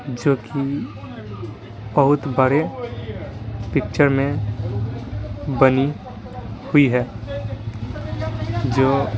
जो कि बहुत बड़े पिक्चर में बनी हुई है जो --